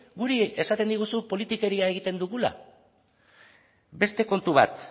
guri esaten diguzu politikeria egiten dugula beste kontu bat